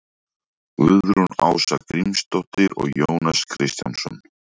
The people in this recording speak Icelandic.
Guðrún Ása Grímsdóttir og Jónas Kristjánsson.